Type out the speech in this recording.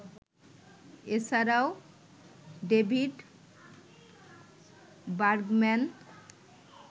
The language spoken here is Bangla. এছাড়াও ডেভিড বার্গম্যান